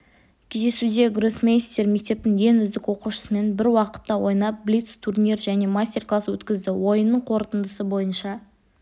кездесуде гроссмейстер мектептің ең үздік оқушысымен бір уақытта ойнап блиц-турнир және мастер-класс өткізді ойынның қорытындысы бойынша